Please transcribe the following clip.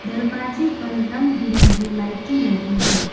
दरवाजे पर रंग बिरंगी लाइटें लगी हैं।